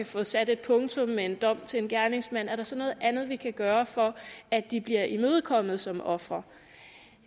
få sat et punktum med en dom til en gerningsmand er der så noget andet vi kan gøre for at de bliver imødekommet som ofre